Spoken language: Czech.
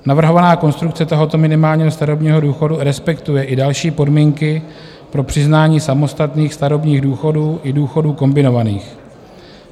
Navrhovaná konstrukce tohoto minimálního starobního důchodu respektuje i další podmínky pro přiznání samostatných starobních důchodů i důchodů kombinovaných.